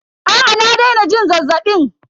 Aa na daina jin zazzabin.